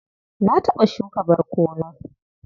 Na taɓa shuka barkono.